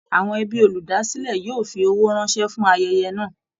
Àwọn ẹbí olúdásílẹ̀ yóò fi owó ránṣẹ́ fún ayẹyẹ náà